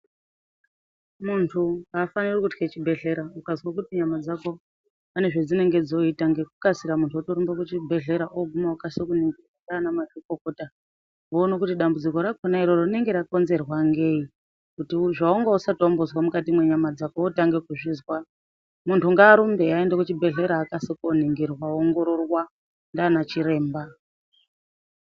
Muntu hafaniri kutye chibhehlera. Ukazwe kuti nyama dzako pane zvedzinenge dzoita munhu ngekukasira otorumba kuchibhehlera oguma okase kuningirwa ndiana mazvikokota voona kuti dambudziko rakhona iroro rinenge rakonzerwa ngei kuti zvawanga usati wambozwa mukati mwenyama dzako wotange kuzvizwa muntu ngarumbe aende kuchibhehlera akase koningirwa oongororwa ndiana chiremba.